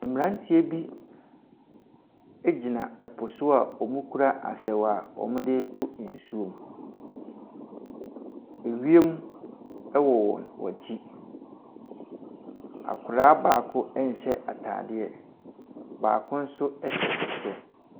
Mmeranteɛ bi gyina po so a wɔkura asaw a wɔde reto nsuo mu. Ewiem wɔ wɔn akyi. Akwadaa baako nhyɛ atadeɛ. Baako nso hyɛ ɛkyɛ.